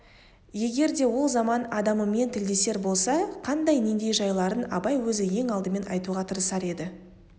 егер де ол заман адамымен тілдесер болса қандай нендей жайларын абай өзі ең алдымен айтуға тырысар еді